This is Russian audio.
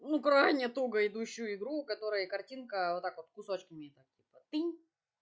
ну крайне туго идущую игру у которой картинка вот так вот кусочками так вот тынь